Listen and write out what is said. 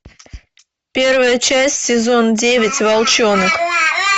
первая часть сезон девять волчонок